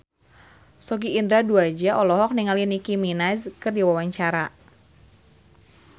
Sogi Indra Duaja olohok ningali Nicky Minaj keur diwawancara